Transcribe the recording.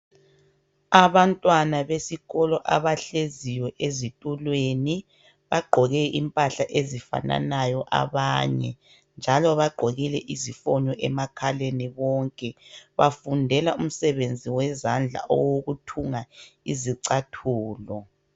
Abantwana besikolo abahleziyo ezitulweni bagqoke impahla ezifananayo abanye njalo bagqokile izifonyo emakhaleni bonke bafundela umsebenzi wezandla owokuthunga izicathulo.